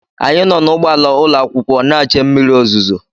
Anyị nọ n’ụgbọala ụlọakwụkwọ na-che mmiri ozuzo